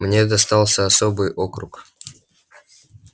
мне достался особый округ